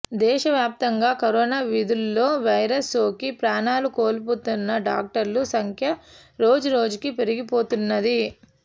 దేశవ్యాప్తంగా కరోనా విధుల్లో వైరస్ సోకి ప్రాణాలు కోల్పోతున్న డాక్టర్ల సంఖ్య రోజురోజుకీ పెరిగిపోతున్నది